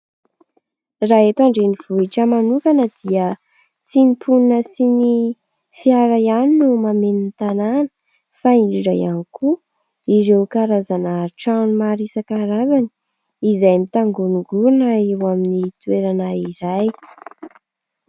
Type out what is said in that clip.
Raha eto an-drenivohitra manokana dia tsy ny mponina sy ny fiara ihany no mameno ny tanàna fa indrindra ihany koa ireo karazana trano maro isankarazany, izay mitangonongorina eo amin'ny toerana iray.